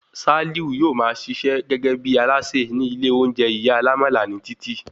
Sálíù yóò máa ṣiṣẹ́ gẹ́gẹ́ bí alásè ní ilé oúnjẹ ìyá alámálà ní títì